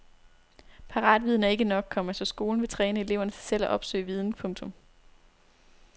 Paratviden er ikke nok, komma så skolen vil træne eleverne til selv at opsøge viden. punktum